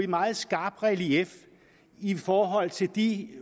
meget skarpt relief i forhold til de